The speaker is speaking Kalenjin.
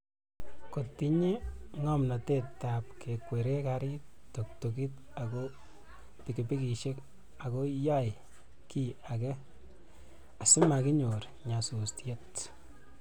kotinye ngomnotetab kekweree karit, tuktukit ago pikipikishek agoma yey kiiy age asimaginyor nyasusiet